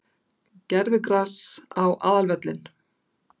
Gervigras á aðalvöllinn?